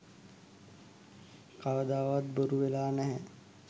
කවදාවත් බොරු වෙලා නෑ